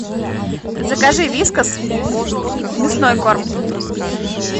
закажи вискас мясной корм